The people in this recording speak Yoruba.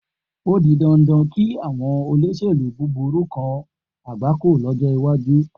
O di dandan kí àwọn olóṣèlú búburú kan àgbákò lọ́jọ́ iwájú.